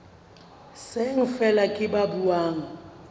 seng feela ke ba buang